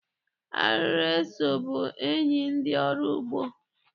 Arịrị eso bụ enyi ndị ọrụ ugbo.